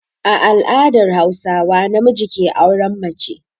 A al'adar Hauswa namiji ke auren mace.